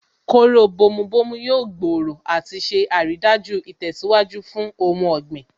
Kóró bomu bomu yóò gbòòrò àti ṣe àrídájú ìtẹ̀síwájú fún ohun ọ̀gbìn